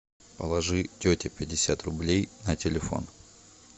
положи тете пятьдесят рублей на телефон